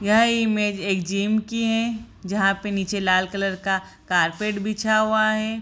यह इमेज एक जिम की है जहाँ पे नीचे लाल कलर का कारपेट बिछा हुआ है ।